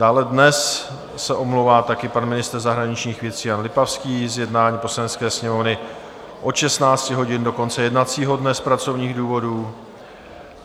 Dále dnes se omlouvá taky pan ministr zahraničních věcí Jan Lipavský z jednání Poslanecké sněmovny od 16 hodin do konce jednacího dne z pracovních důvodů.